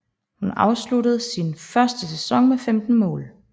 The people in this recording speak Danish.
Hun afsluttede sin første sæson med 15 mål